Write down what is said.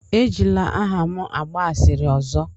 Ejila aha m agba asịrị ọzọ!